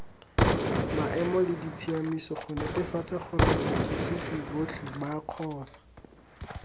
maemoleditsamaiso gonetefatsagorebats huts hisibotlheba kgona